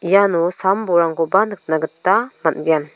iano sam bolrangkoba nikna gita man·gen.